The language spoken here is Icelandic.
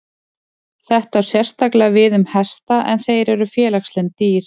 Þetta á sérstaklega við um hesta en þeir eru félagslynd dýr.